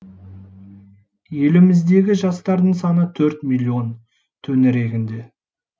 еліміздегі жастардың саны төрт миллион төңірегінде